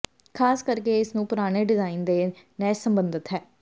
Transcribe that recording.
ਖ਼ਾਸ ਕਰਕੇ ਇਸ ਨੂੰ ਪੁਰਾਣੇ ਡਿਜ਼ਾਈਨ ਦੇ ਨਹਿਸ਼ ਸਬੰਧਤ ਹੈ